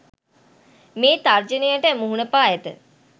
මේ තර්ජනයට මුහුණ පා ඇත